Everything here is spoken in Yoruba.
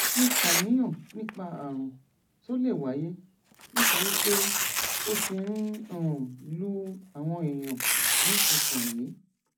mo ṣàníyàn nípa àrùn tó lè wáyé nítorí pé ó ti ń um lu àwọn èèyàn nísinsìnyí